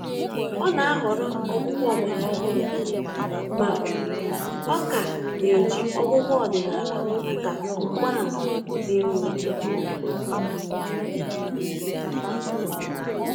Ọ́ nà-àhọrọ ọgwụ́gwọ ọgbàrà ọhụ́rụ́ mà ọ kà nà-éjí ọgwụ́gwọ ọdị́nàlà màkà mgbààmà dị́ nró.